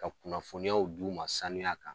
Ka kunnafoniyaw d'u ma sanuya kan.